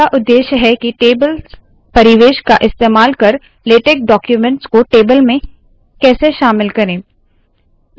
दूसरा उद्देश्य है के टेबल परिवेश का इस्तेमाल कर लेटेक डाक्यूमेंट्स को टेबल्स में कैसे शामिल करे